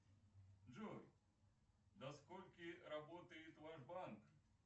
джой до скольки работает ваш банк